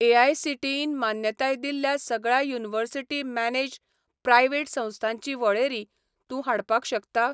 एआयसीटीईन मान्यताय दिल्ल्या सगळ्या युनिवर्सिटी मॅनेज्ड प्रायव्हेट संस्थांची वळेरी तूं हाडपाक शकता?